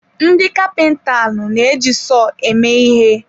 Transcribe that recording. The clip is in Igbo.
Ndị kapintalụ na-eji sọọ eme ihe.